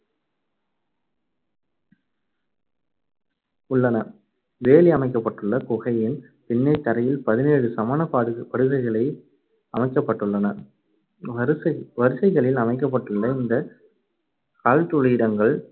உள்ளன. வேலி அமைக்கப்பட்டுள்ள குகையின் பின்னே தரையில் பதினேழு சமணப்பாடு~படுகைகளை அமைக்கப்பட்டுள்ளன. வரிசை~ வரிசைகளில் அமைக்கப்பட்டுள்ள இந்த கல்துலிடங்கள்